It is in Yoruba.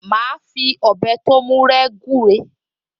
Màá fi ọ̀bẹ tó mú rẹ́ gúre